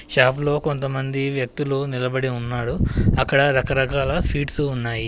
షాప్లో కొంతమంది వ్యక్తులు నిలబడి ఉన్నాడు అక్కడ రకరకాల స్వీట్స్ ఉన్నాయి.